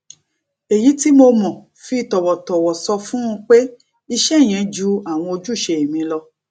èyí tí mo mo fi tòwòtòwò sọ fún un pé iṣé yẹn ju àwọn ojúṣe mi lọ